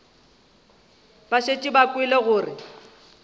ba šetše ba kwele gore